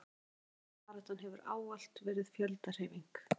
kvenréttindabaráttan hefur ávallt verið fjöldahreyfing